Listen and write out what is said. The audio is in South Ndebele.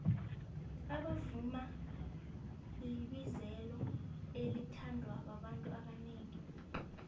ukuvuma libizelo elithandwababantu abonengi